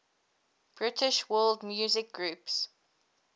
british world music groups